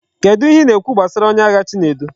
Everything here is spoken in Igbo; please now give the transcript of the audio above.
Kedu ihe I na ekwu gbasara onye agha chinedu?